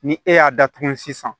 Ni e y'a datugu sisan